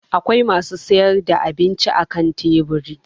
Akwai masu sayar da abinci akan teburi.